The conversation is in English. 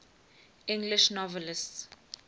english novelists